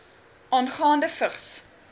aangaande vigs